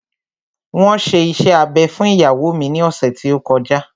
Wọn ṣe iṣẹ́ abẹ fún ìyàwó mi ní ọ̀sẹ̀ tí ó kọjá